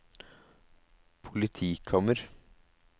politikammer